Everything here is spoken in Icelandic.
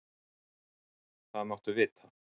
Það máttu vita.